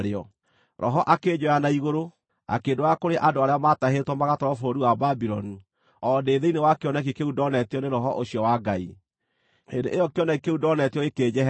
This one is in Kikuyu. Roho akĩnjoya na igũrũ, akĩndwara kũrĩ andũ arĩa maatahĩtwo magatwarwo bũrũri wa Babuloni, o ndĩ thĩinĩ wa kĩoneki kĩu ndoonetio nĩ Roho ũcio wa Ngai. Hĩndĩ ĩyo kĩoneki kĩu ndoonetio gĩkĩnjeherera,